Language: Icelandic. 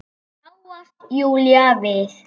þráast Júlía við.